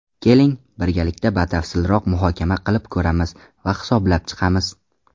Keling, birgalikda batafsilroq muhokama qilib ko‘ramiz va hisoblab chiqamiz.